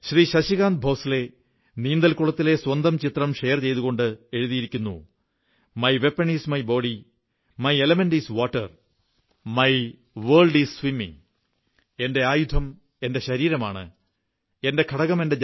ശശികാന്ത് ഭോസ്ലെ നീന്തൽ കുളത്തിലെ സ്വന്തം ചിത്രം ഷെയർ ചെയ്തുകൊണ്ട് എഴുതിയിരിക്കുന്നു my weapon is my body my element is water my world is swimming my weapon IS my body my element IS water my world IS swimming